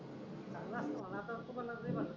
चांगला असतो म्हणचा असतो नशिबात.